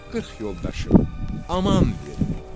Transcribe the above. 40 yoldaşım, aman verin.